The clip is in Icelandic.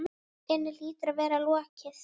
inni hlýtur að vera lokið.